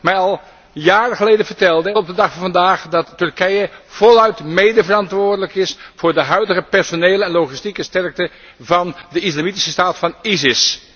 mij al jaren geleden vertelden, en dit tot op de dag van vandaag doen, dat Turkije voluit medeverantwoordelijk is voor de huidige personele en logistieke sterkte van de Islamitische Staat van ISIS.